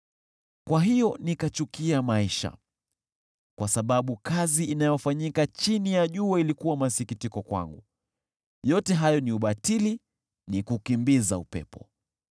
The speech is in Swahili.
Kwa hiyo nikachukia maisha, kwa sababu kazi inayofanyika chini ya jua ilikuwa masikitiko kwangu. Yote hayo ni ubatili, ni kukimbiza upepo.